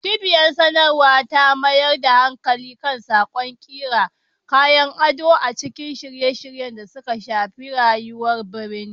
Cibiyar sadarwa ta mayar da hankali kan salon, ƙira, kayan ado na ciki da shirye-shiryen da suka shafi rayuwar birni